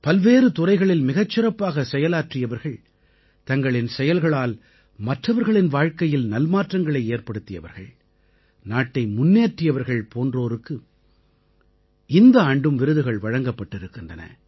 பல்வேறு துறைகளில் மிகச் சிறப்பாகச் செயலாற்றியவர்கள் தங்களின் செயல்களால் மற்றவர்களின் வாழ்க்கையில் நல்மாற்றங்களை ஏற்படுத்தியவர்கள் நாட்டை முன்னேற்றியவர்கள் போன்றோருக்கு இந்த ஆண்டும் விருதுகள் வழங்கப்பட்டிருக்கின்றன